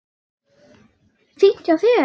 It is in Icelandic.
Fínt hjá þér.